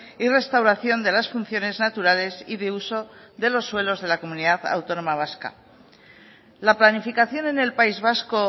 y restauración de las funciones naturales y de uso de los suelos de la comunidad autónoma vasca la planificación en el país vasco